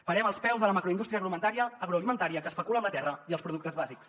parem els peus a la macroindústria agroalimentària que especula amb la terra i els productes bàsics